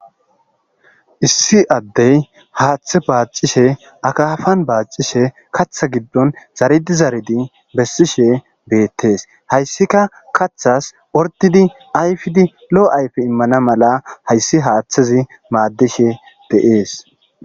Issi addey haaththe baacishshe akafan baacishshe kaththa giddon zaridi zaridi bessishshe beettees hayssika kaththas ordidi ayfidi lo'o ayfe immana mala hayssi haaththazi maaddishshe de'ees